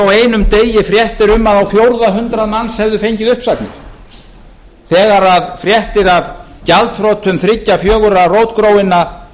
á einum degi fréttir um að á fjórða hundrað manns hefðu fengið uppsagnir þegar fréttir af gjaldþrotum þriggja fjögurra rótgróinna